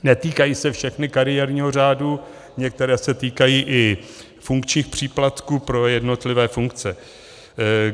Netýkají se všechny kariérního řádu, některé se týkají i funkčních příplatků pro jednotlivé funkce.